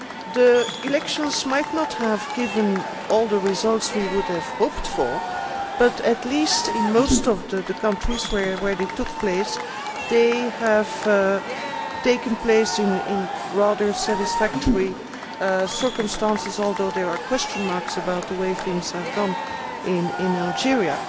The elections might not have given all the results we would have hoped for, but at least in most of the countries where they took place they have taken place in rather satisfactory circumstances, although there are question marks about the way things have gone in Algeria.